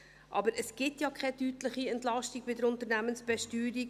Aber es gibt ja keine deutliche Entlastung bei der Unternehmensbesteuerung.